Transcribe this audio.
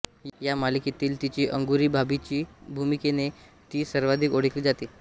या मालिकेतील तीची अंगुरी भाभीच्या भूमिकेने ती सर्वाधिक ओळखली जाते